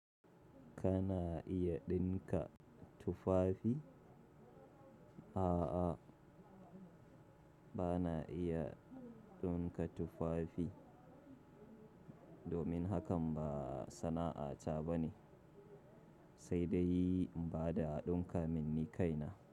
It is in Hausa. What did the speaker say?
Kana iya ɗinka tufafi? A'a, bana iya ɗinka tufafi, domin hakan ba sana'ata bane, sai dai in bada a ɗinka minni kaina.